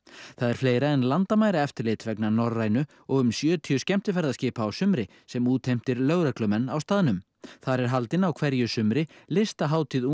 það er fleira en landamæraeftirlit vegna Norrænu og um sjötíu skemmtiferðaskipa á sumri sem útheimtir lögreglumenn á staðnum þar er haldin á hverju sumri listahátíð ungs